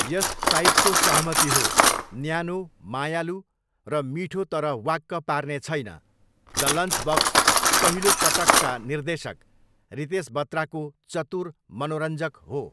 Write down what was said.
यस साइटको सहमति हो, 'न्यानो, मायालु, र मिठो तर वाक्क पार्ने छैन, द लन्चबक्स पहिलो पटकका निर्देशक रितेश बत्राको चतुर मनोरञ्जक हो'।